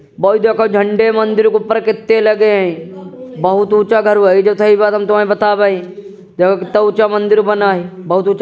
वोई देखो झंडे मंदिर के ऊपर कित्ते लगे हैं बोहोत ऊँचा गर्व हैं ये जो थाई बात हम तुम्हैं बता वाई देखो कितना ऊँचा मंदिर बना हुआ हियँ |